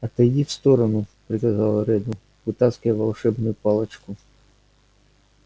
отойди в сторону приказал реддл вытаскивая волшебную палочку